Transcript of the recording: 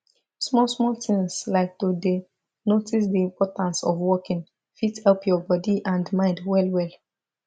small small things like to dey notice the importance of walking fit help your body and mind well well